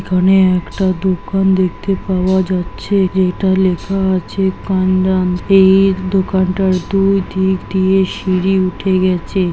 এখানে একটা দোকান দেখতে পাওয়া যাচ্ছে যেটা লেখা আছে কান্দান। এই দোকানটার দুই দিক দিয়ে সিঁড়ি উঠে গেছে।